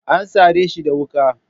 An sare shi da wuka.